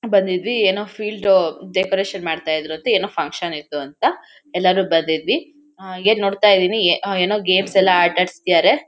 ಬಂದಿದ್ವಿ ಏನೋ ಫೀಲ್ಡೋ ಡೆಕೋರೇಷನ್ ಮಾಡ್ತಾ ಇದ್ರಂತೆ ಏನೋ ಫನ್ಕ್ಷನ್ ಇತ್ತು ಅಂತ ಎಲ್ಲರೂ ಬಂದಿದ್ವಿ ಅಹ್ ಹಂಗೆ ನೋಡ್ತಾ ಇದೀನಿ ಎ ಅಹ್ ಏನೋ ಗೇಮ್ಸ್ ಎಲ್ಲಾ ಆಟಾಡಿಸ್ತಿದಾರೆ.